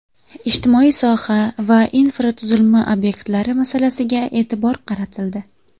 Ijtimoiy soha va infratuzilma obyektlari masalasiga e’tibor qaratildi.